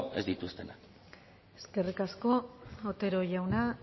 ez dituztenak eskerrik asko otero jauna